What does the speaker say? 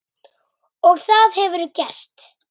Og það hefurðu gert.